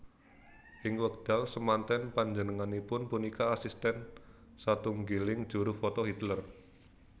Ing wekdal semanten panjenangipun punika asisten satunggiling juru foto Hitler